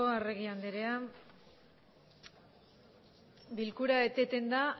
arregi andrea bilkura eteten da